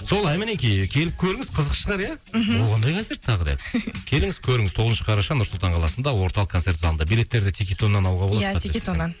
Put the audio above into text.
солай мінекей келіп көріңіз қызық шығар иә мхм ол қандай концерт тағы деп келіңіз көріңіз тоғызыншы қараша нұр сұлтан қаласында орталық концерт залында билеттерді тикетоннан алуға иә тикетоннан